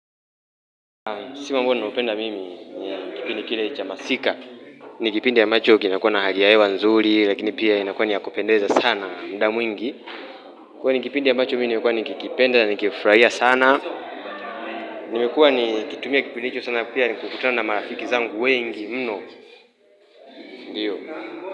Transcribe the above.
Msimu ambao nimeupenda mimi ni ya kipindi kile cha masika ni kipindi ambacho kinakuwa na hali ya hewa nzuri lakini pia inakua ni ya kupendeza sana muda mwingi kwa hiyo ni kipindi ambacho mimi nimekuwa nikikipenda na nikifurahia sana nimekua nikitumia kipindi hicho sana pia nikikutana marafiki zangu wengi mno Ndiyo.